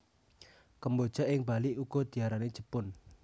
Kemboja ing Bali uga diarani jepun